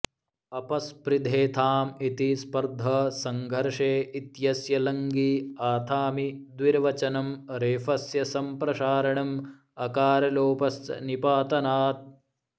अपस्पृधेथाम् इति स्पर्ध सङ्घर्षे इत्यस्य लङि आथामि द्विवर्चनं रेफस्य संप्रसारणम् अकारलोपश्च निपातनात्